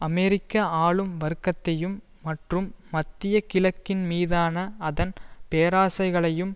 அமெரிக்க ஆளும் வர்க்கத்தையும் மற்றும் மத்திய கிழக்கின் மீதான அதன் பேராசைகளையும்